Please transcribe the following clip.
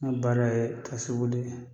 Mun baara ye boli ye.